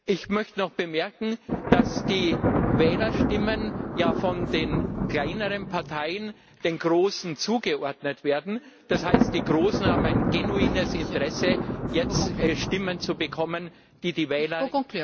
Ich möchte noch bemerken, dass die Wählerstimmen ja von den kleineren Parteien den großen zugeordnet werden, das heißt, die großen haben ein genuines Interesse, jetzt Stimmen zu bekommen, die die Wähler